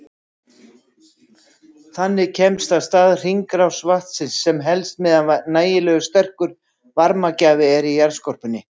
Þannig kemst af stað hringrás vatnsins sem helst meðan nægilega sterkur varmagjafi er í jarðskorpunni.